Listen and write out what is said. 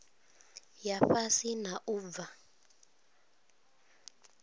ya fhasi na u bva